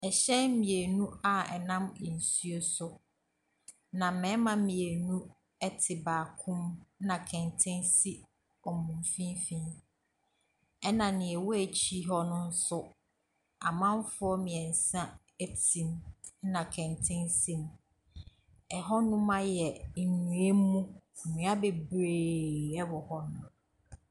Ɛhyɛn mmienu a ɛnam nsuo so. Na mmarima mmienu ɛte baako mu ɛna kɛntɛn si wɔn mfimfinn. Ɛna nea ɛwɔ akiri hɔ no nso, amanfoɔ mmiɛnsa ɛte mu ɛna kɛntɛn si mu. Ɛhɔnom ayɛ nnua mu, nnua bebree ɛwɔ hɔ nom.